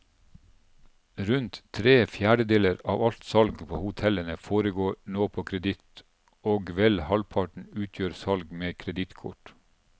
Rundt tre fjerdedeler av alt salg på hotellene foregår nå på kreditt, og vel halvparten utgjør salg med kredittkort.